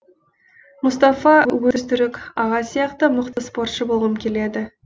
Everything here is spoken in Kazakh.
мұстафа өзтүрік аға сияқты мықты спортшы болғым келеді